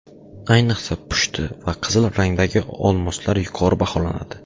Ayniqsa pushti va qizil rangdagi olmoslar yuqori baholanadi.